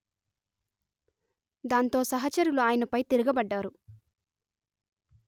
దాంతో సహచరులు ఆయనపై తిరగబడ్డారు